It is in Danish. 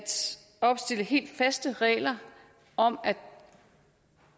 opstille helt faste regler om at